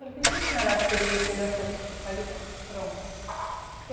Por que que a senhora acha que ele fez essa